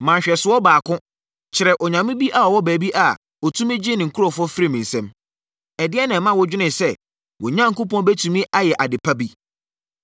Ma nhwɛsoɔ baako kyerɛ onyame bi a ɔwɔ baabi a ɔtumi gyee ne nkurɔfoɔ firii me nsam! Ɛdeɛn na ɛma wodwene sɛ, wo Onyankopɔn bɛtumi ayɛ ade pa bi?